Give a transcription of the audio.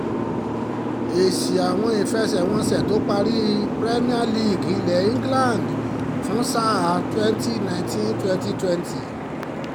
èsì àwọn ìfẹsẹ̀wọnsẹ̀ tó parí premier league ilẹ̀ england fún sáà twenty nineteen twenty twenty